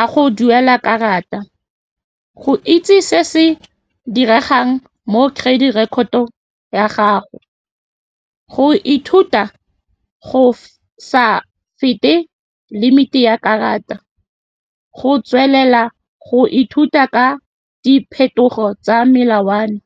a go duela karata, go itse se se diregang mo credit record-to ya gago, go ithuta go go sa fete limit-e ya karata, le go tswelela go ithuta ka diphetogo tsa melawana.